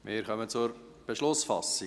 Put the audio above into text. Wir kommen zur Beschlussfassung.